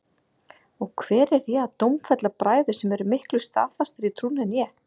Og hver er ég að dómfella bræður sem eru miklu staðfastari í trúnni en ég?